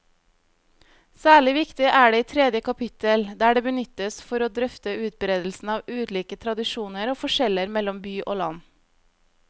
Særlig viktig er det i tredje kapittel, der det benyttes for å drøfte utbredelsen av ulike tradisjoner og forskjeller mellom by og land.